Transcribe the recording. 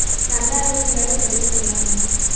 நல்லா இருக்குன்னு வேற சொல்லிட்டு இருந்தாங்க.